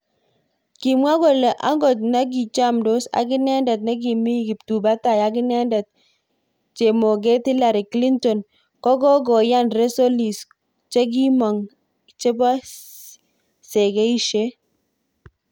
Kimwa kole angot nikichamdos akinendet nikimi kiptubatai ak iknendet chemoget Hillary Clinton kokokoyan resolis chekimonk chebo segeishet.